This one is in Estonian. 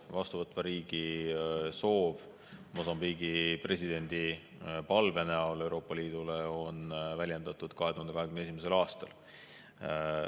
Vastuvõtva riigi soovi Mosambiigi presidendi palvena Euroopa Liidule on väljendatud 2021. aastal.